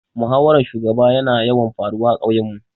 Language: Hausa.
Muhawaran shugaba ya na yawan faruwa a ƙauyen mu